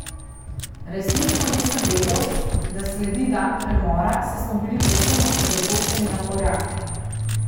Resnično nisem vedel, da sledi dan premora, saj smo bili povsem osredotočeni na Poljake.